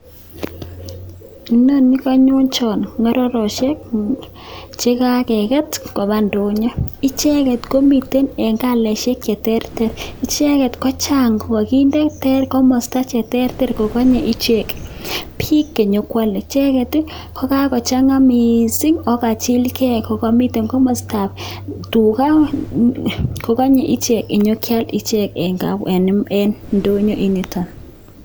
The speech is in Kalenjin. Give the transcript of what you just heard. Inoni kanyonchon ko mororochek, che kakeket koba ndonyo. Icheket komitei eng colaishek che terter. Icheket ko chang kikinde eng komosta che terter kokanye ichek bik che nyekoalei . Icheket ko kakochanga mising ako kachilgei, ako kamitei komostap tuga kokanyei ichek konya kial ichek eng ndoyo nitok.